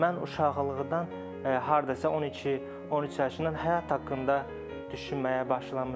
Mən uşaqlıqdan hardasa 12-13 yaşından həyat haqqında düşünməyə başlamışam.